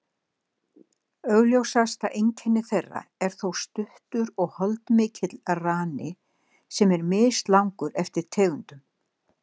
Augljósasta einkenni þeirra er þó stuttur og holdmikill rani, sem er mislangur eftir tegundum.